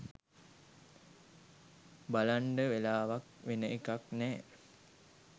බලන්ඩ වෙලාවක් වෙන එකක් නෑ